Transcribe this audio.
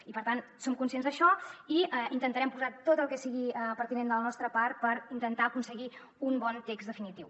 i per tant som conscients d’això i intentarem posar tot el que sigui pertinent de la nostra part per intentar aconseguir un bon text definitiu